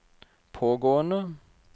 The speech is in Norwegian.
pågående